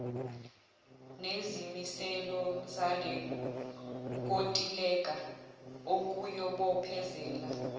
nezimiselo zalenkontileka okuyobophezela